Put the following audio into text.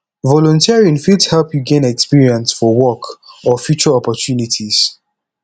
volunteering fit help yu gain experience for work or future opportunities